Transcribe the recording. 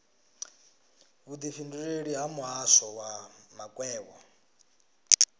vhudifhinduleleli ha muhasho wa makwevho